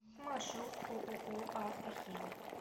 маршрут ооо автохим